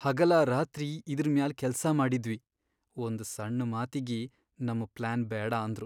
ಹಗಲಾರಾತ್ರಿ ಇದ್ರ್ ಮ್ಯಾಲ್ ಕೆಲ್ಸಾ ಮಾಡಿದ್ವಿ, ಒಂದ್ ಸಣ್ ಮಾತಿಗಿ ನಮ್ ಪ್ಲಾನ್ ಬ್ಯಾಡ ಅಂದ್ರು.